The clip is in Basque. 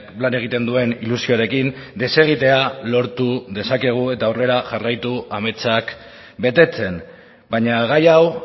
lan egiten duen ilusioarekin desegitea lortu dezakegu eta aurrera jarraitu ametsak betetzen baina gai hau